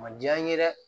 A ma diya n ye dɛ